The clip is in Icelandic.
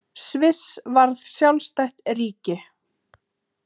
Sviss varð sjálfstætt ríki.